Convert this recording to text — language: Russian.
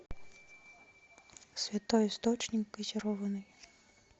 святой источник газированный